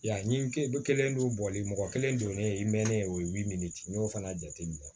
Ya ni kelen dɔw bɔli mɔgɔ kelen donnen ye i mɛnnen ye o i b'i miiri n'o fana jate minɛ